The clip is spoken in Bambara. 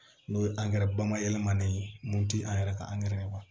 N'o ye angɛrɛ bayɛlɛmani ye mun ti an yɛrɛ ka angɛrɛ ye